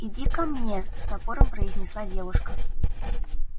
иди ко мне с напором произнесла девушка